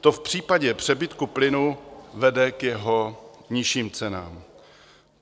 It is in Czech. To v případě přebytku plynu vede k jeho nižším cenám.